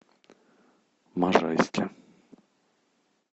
можайске